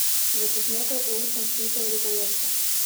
Za čez nekaj ur sem sklical ripperjevce.